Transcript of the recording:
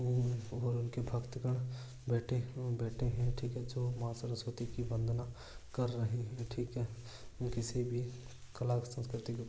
और और उनके भक्तगण बेठे है बेठे है ठीक है जो माँ सरस्वती की वंदना कर रहे है ठीक है एव किसी भी कला संस्कृति --